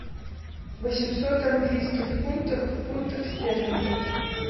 восемьсот английских фунтов в фунтах стерлингов